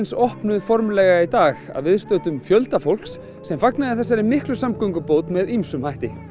opnuð formlega í dag að viðstöddum fjölda fólks sem fagnaði þessari samgöngubót með ýmsum hætti